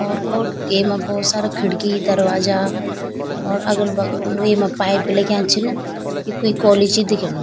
और को येमा भोत सारा खिड़की दरवाजा और अगल-बगल येमा पाइप भी लग्याँ छिन यी कुई कॉलेज ही दिखेणु।